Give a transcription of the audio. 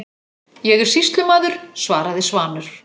Ég er sýslumaður, svaraði Svanur.